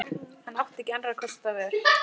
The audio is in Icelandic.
Hann átti ekki annars kostar völ.